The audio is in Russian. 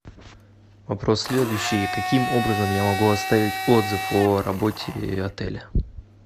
вопрос следующий каким образом я могу оставить отзыв о работе отеля